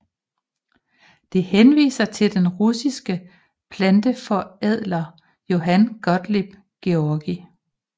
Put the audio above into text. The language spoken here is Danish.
Det henviser til den russiske planteforædler Johann Gottlieb Georgi